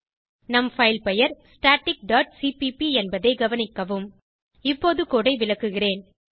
நம் பைல் பெயர் static dot CPP என்பதை கவனிக்கவும் இப்போது கோடு ஐ விளக்குகிறேன்